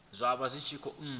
zwa vha zwi tshi khou